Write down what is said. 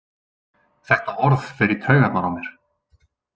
Þetta orð fer í taugarnar á mér.